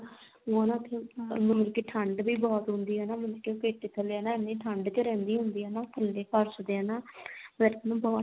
ਉਹ ਨਾ ਉਥੇ ਮਤਲਬ ਕੀ ਠੰਡ ਵੀ ਬਹੁਤ ਹੁੰਦੀ ਆ ਹਨਾ ਮਤਲਬ ਕੀ ਉਹ ਪੇਟੀ ਥੱਲੇ ਇੰਨੀ ਠੰਡ ਚ ਰਿਹੰਦੀ ਹੁੰਦੀ ਹਨਾ ਥੱਲੇ ਫਰਸ਼ ਤੇ ਹਨਾ ਮਤਲਬ ਕੀ ਬਹੁਤ